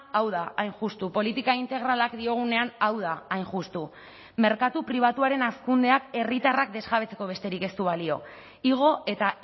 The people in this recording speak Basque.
hau da hain justu politika integralak diogunean hau da hain justu merkatu pribatuaren hazkundeak herritarrak desjabetzeko besterik ez du balio igo eta